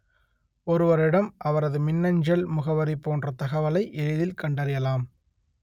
ஒருவரின் இடம் அவரது மின்னஞ்சல் முகவரி போன்ற தகவலை எளிதில் கண்டறியலாம்